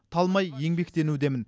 талмай еңбектенудемін